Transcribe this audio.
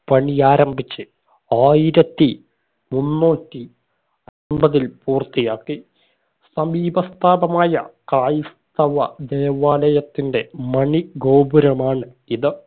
പണിയാരംഭിച്ച് ആയിരത്തി മുന്നൂറ്റി ഒമ്പതിൽ പൂർത്തിയാക്കി സമീപ സ്ഥാപമായ ക്രൈസ്തവ ദേവാലയത്തിന്റെ മണി ഗോപുരമാണ് ഇത്